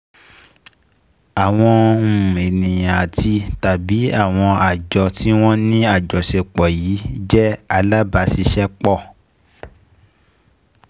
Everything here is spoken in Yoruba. Àwọn um ènìyàn àti/tàbí àwọn àjọ tí wọ́n ní àjọṣepọ̀ yìí um jẹ́ alábàáṣiṣẹ́pọ̀